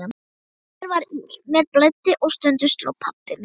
Mér var illt, mér blæddi og stundum sló pabbi mig.